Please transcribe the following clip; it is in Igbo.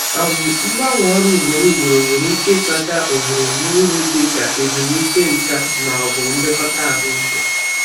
um Mgbanwe ọrụ ugboro ugboro nwere ike ịkpata oghere na uru dị ka ezumike nka ma ọ bụ nlekọta ahụike.